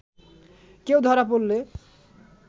কেউ ধরা পড়লে